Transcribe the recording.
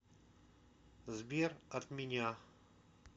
сбер от меня